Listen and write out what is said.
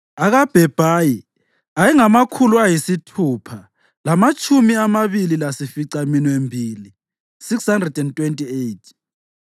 akaBhebhayi ayengamakhulu ayisithupha lamatshumi amabili lasificaminwembili (628),